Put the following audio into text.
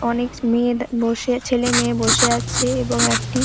অনেক মেয়ে বসে ছেলে মেয়ে বসে আছে এবং একটি--